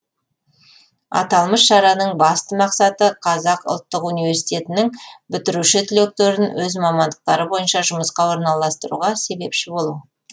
аталмыш шараның басты мақсаты қазақ ұлттық университетінің бітіруші түлектерін өз мамандықтары бойынша жұмысқа орналастыруға себепші болу